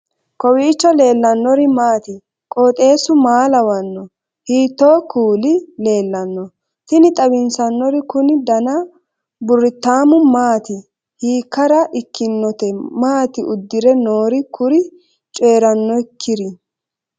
kowiicho leellannori maati ? qooxeessu maa lawaanno ? hiitoo kuuli leellanno ? tini xawissannori kuni dana burritaamu maati hiikkara ikkinote maati uddire noori kuri coyrannokkiri